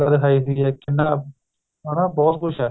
ਦਿਖਾਈ ਹੈਗੀ ਏ ਕਿੰਨਾ ਹਨਾ ਬਹੁਤ ਕੁੱਝ ਏ